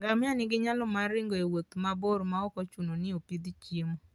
Ngamia nigi nyalo mar ringo e wuoth mabor maok ochuno ni opidh chiemo.